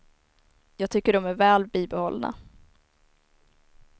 Jag tycker de är väl bibehållna.